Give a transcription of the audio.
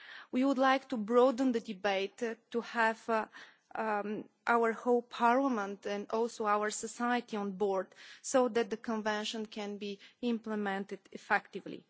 We would like to broaden the debate to have our whole parliament and our society on board so that the Convention can be implemented effectively.